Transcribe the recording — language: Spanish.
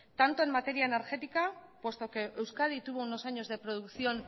tanto en materia energética puesto que euskadi tuvo unos años de producción